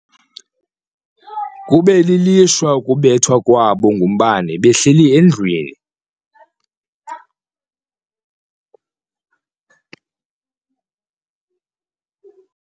Kube lilishwa ukubethwa kwabo ngumbane behleli endlwini.